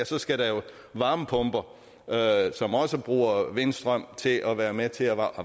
så skal der jo varmepumper som også bruger vindstrøm til for at være med til at